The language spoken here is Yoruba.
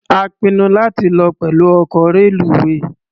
A pinnu láti lọ pẹ̀lú ọkọ̀ reluwé.